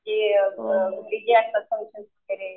की जे